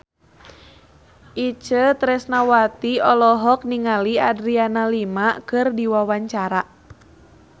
Itje Tresnawati olohok ningali Adriana Lima keur diwawancara